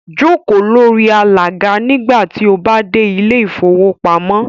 Jókò lórí alàga nígbà tí o bá dẹ̀ ilẹ̀ ìfowópamọ́